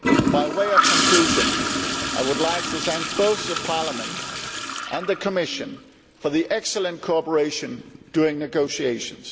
By way of conclusion I would like to thank both Parliament and the Commission for the excellent cooperation during negotiations.